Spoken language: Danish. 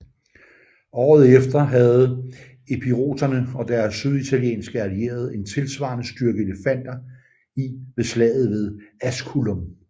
Året efter havde epiroterne og deres syditalienske allierede en tilsvarende styrke elefanter i ved slaget ved Asculum